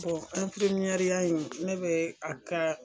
nɛriya in ne bɛ a ka